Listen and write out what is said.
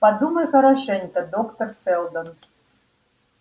подумайте хорошенько доктор сэлдон